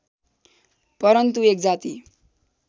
परन्तु एक जाति